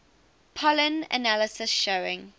pollen analysis showing